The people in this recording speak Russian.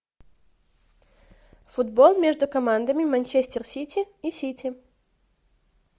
футбол между командами манчестер сити и сити